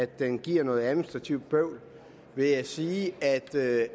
den giver noget administrativt bøvl vil jeg sige at det